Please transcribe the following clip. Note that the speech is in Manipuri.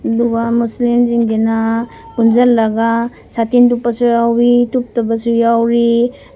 ꯃꯨꯁꯂꯤꯝ ꯁꯤꯡꯁꯤꯅ ꯄꯨꯟꯖꯜꯂꯒ ꯁꯥꯇꯤꯟ ꯇꯨꯞꯄꯁꯨ ꯌꯥꯎꯏ ꯇꯨꯞꯇꯕꯁꯨ ꯌꯥꯎꯔꯤ꯫